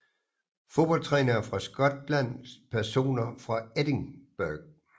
Fodboldtrænere fra Skotland Personer fra Edinburgh